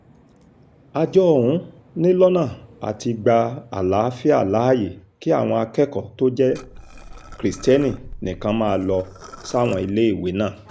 àjọ ọ̀hún ni lọ́nà àti gba àlàáfíà láàyè kí àwọn akẹ́kọ̀ọ́ tó jẹ́ kristẹni nìkan máa lọ sáwọn iléèwé náà